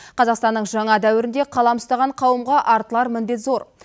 қазақстанның жаңа дәуірінде қалам ұстаған қауымға артылар міндет зор